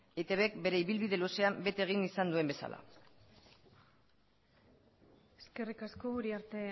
eitbk bere ibilbide luzean bete egin izan duen bezala eskerrik asko uriarte